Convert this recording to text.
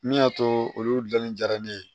Min y'a to olu gilanni jara ne ye